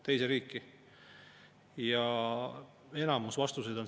Kas seal koalitsiooni poole peal mõistlikke inimesi üldse enam ei ole?